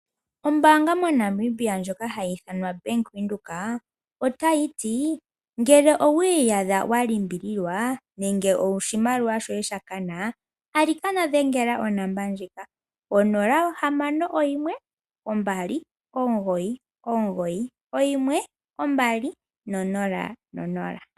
Ombaanga moNamibia ndjoka hayi ithanwa Bank Windhoek otayi to, ngele owiiyadha walimbililwa nenge oshimaliwa shoye shakana alikana dhengela onomola ndjika 0612991200.